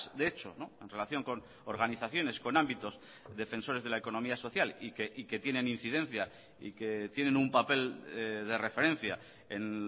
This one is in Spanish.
de hecho en relación con organizaciones con ámbitos defensores de la economía social y que tienen incidencia y que tienen un papel de referencia en